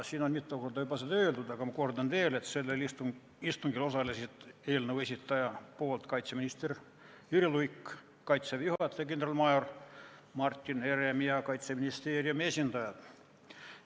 Siin on seda küll juba mitu korda öeldud, aga ma kordan veel, et sellel istungil osalesid eelnõu esitaja nimel kaitseminister Jüri Luik, Kaitseväe juhataja kindralmajor Martin Herem ja Kaitseministeeriumi esindajad.